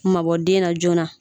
Mabɔ den na joona